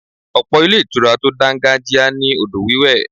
Ọ̀pọ̀ ilé ìtura tó dangajia ní odò wiwe.